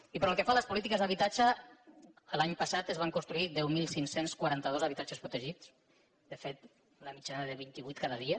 i pel que fa a les polítiques d’habitatge l’any passat es van construir deu mil cinc cents i quaranta dos habitatges protegits de fet una mitjana de vint i vuit cada dia